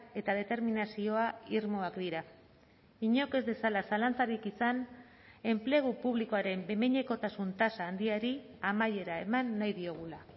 eta determinazioa irmoak dira inork ez dezala zalantzarik izan enplegu publikoaren behin behinekotasun tasa handiari amaiera eman nahi diogula